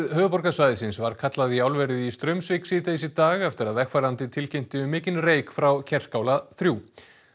höfuðborgarsvæðisins var kallað í álverið í Straumvík síðdegis í dag eftir að vegfarandi tilkynnti um mikinn reyk frá Kerskála þrjú